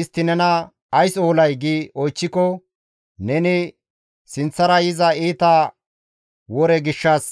Istti nena, ‹Ays oolay?› gi oychchiko, neni, ‹Sinththara yiza iita wore gishshas